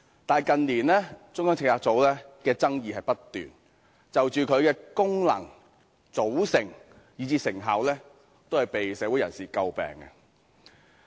但是，近年有關中策組的爭議不斷，其功能和組成以至成效，均遭社會人士詬病。